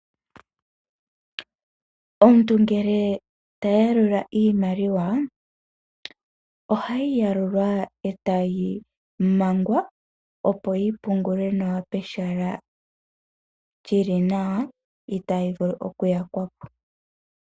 Omuntu ngele ta yalula iimaliwa, ohayi yalulwa e tayi mangwa, opo yi pungulwe nawa pehala li li nawa itayi vulu okuyakwa po.